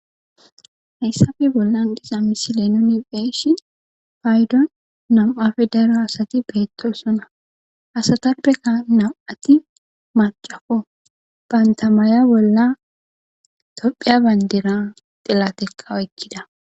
hayssafe bollan diza misile nuni be'ishshi payddon nawu'appe daro asati beettossona asatappekka naw'ati macakko banta maya bolla toophphiya bayndiran xilatekka oykkidda